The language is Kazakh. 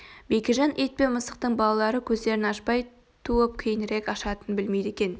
бекежан ит пен мысықтың балалары көздерін ашпай туып кейінірек ашатынын білмейді екен